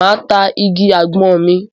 Máa ta igi àgbọn mi.